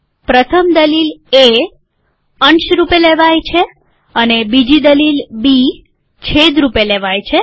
પ્રથમ દલીલ એ અંશ રૂપે લેવાય છે અને બીજી દલીલ બી છેદ રૂપે લેવાય છે